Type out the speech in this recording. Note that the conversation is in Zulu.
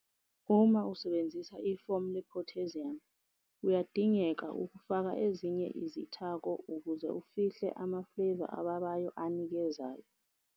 Uma usebenzisa ifomu le-potassium, kuyadingeka ukufaka ezinye izithako ukuze ufihle ama-flavour ababayo anikezayo.